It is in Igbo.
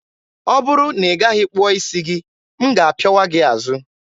ọ bụrụ na ị gaghị kpụọ isi gị, m ga-apịawa gị azụ!